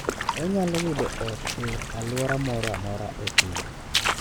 Onyalo yudo ot e alwora moro amora e piny.